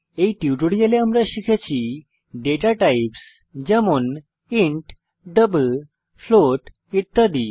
এই টিউটোরিয়ালে আমরা শিখেছি দাতা টাইপস যেমন ইন্ট ডাবল ফ্লোট ইত্যাদি